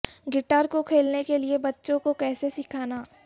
guitar کو کھیلنے کے لئے بچوں کو کیسے سکھانا